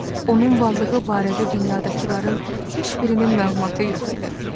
Onun varlığı barədə dünyadakıların heç birinin məlumatı yox idi.